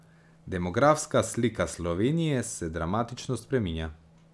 Demografska slika Slovenije se dramatično spreminja.